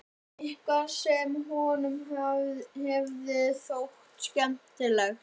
Eitthvað sem honum hefði þótt skemmtilegt.